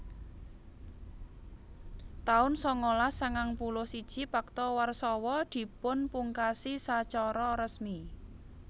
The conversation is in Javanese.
taun sangalas sangang puluh siji Pakta Warsawa dipunpungkasi sacara resmi